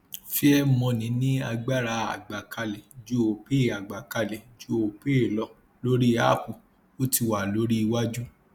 fairmoney ní agbára àgbàkalẹ ju opay àgbàkalẹ ju opay lọ lórí app ó ti wà lórí iwájú